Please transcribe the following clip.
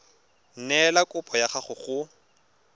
neela kopo ya gago go